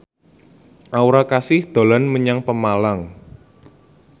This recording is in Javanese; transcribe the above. Aura Kasih dolan menyang Pemalang